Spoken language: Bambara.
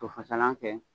To fasalan kɛ